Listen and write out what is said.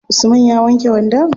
Usman ya wanke wandon?